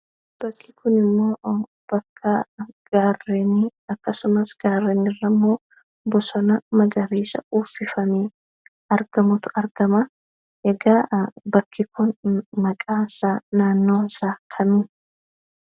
Bakki kunimmoonbakka gaarrenii, akkasumas gaarreen irrammoo bosona magariisa uffifamee argamutu argama. Egaa bakki kun maqaansaa, naannoonsaa kami?